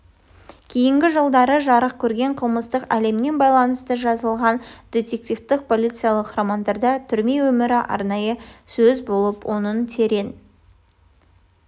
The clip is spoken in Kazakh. кейінгі жылдары жарық көрген қылмыстық әлеммен байланысты жазылған дидективтік полицейлік романдарда түрме өмірі арнайы сөз болып оның терең